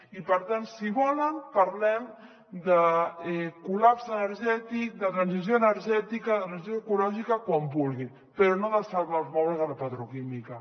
i per tant si volen parlem de col·lapse energètic de transició energètica de transició ecològica quan vulguin però no de salvar els mobles a la petroquímica